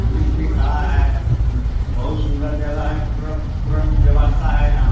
Police भी खड़ा है बहुत सुंदर जगह है पूरा-पूरा व्यवस्था है यहाँ।